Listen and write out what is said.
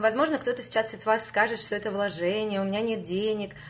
возможно кто-то сейчас и с вас скажет что это вложение у меня нет денег